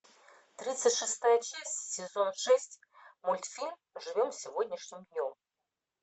тридцать шестая часть сезон шесть мультфильм живем сегодняшним днем